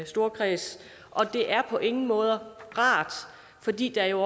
storkreds og det er på ingen måde rart fordi der jo